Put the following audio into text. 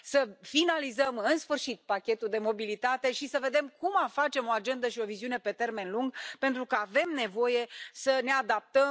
Să finalizăm în sfârșit pachetul de mobilitate și să vedem cum facem o agendă și o viziune pe termen lung, pentru că avem nevoie să ne adaptăm.